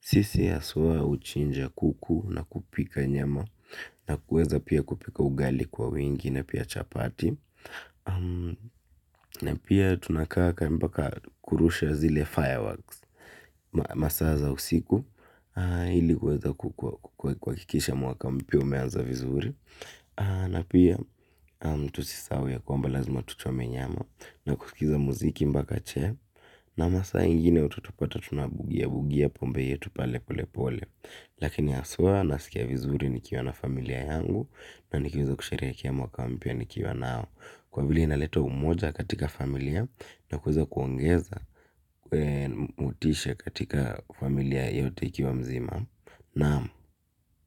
sisi haswa huchinja kuku na kupika nyama na kuweza pia kupika ugali kwa wingi na pia chapati vizuri. Na pia tusisahau ya kwamba lazima tachometer nyama. Na kusikiza mziki mpakache na masaa ingine utatupata tunabugia. Bugia pombe yetu pale pole pole. Lakini haswa nasikia vizuri nikiwa na familia yangu. Na nikiweza kusherehekea mwaka mpya nikiwa nao kwa vile inaleta umoja katika familia. Na kuweza kuongeza motisha katika familia yote ikiwa mzima. Naam.